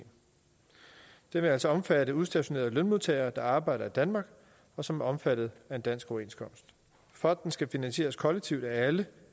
det vil altså omfatte udstationerede lønmodtagere der arbejder i danmark og som er omfattet af en dansk overenskomst fonden skal finansieres kollektivt af alle